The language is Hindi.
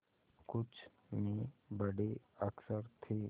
कुछ में बड़े अक्षर थे